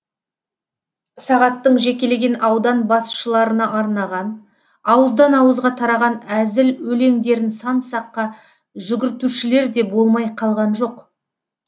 сағаттың жекелеген аудан басшыларына арнаған ауыздан ауызға тараған әзіл өлеңдерін сан саққа жүгіртушілер де болмай қалған жоқ